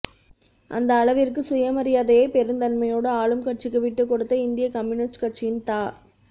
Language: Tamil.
அந்த அளவிற்கு சுயமரியாதையை பெருந்தன்மையோடு ஆளும் கட்சிக்கு விட்டுக்கொடுத்த இந்திய கம்யூனிஸ்ட் கட்சியின் தா